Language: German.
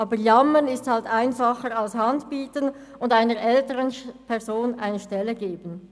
Aber Jammern ist halt einfacher, als die Hand zu reichen und einer älteren Person eine Stelle zu geben.